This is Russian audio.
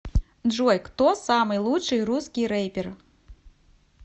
джой кто самый лучший русский рэпер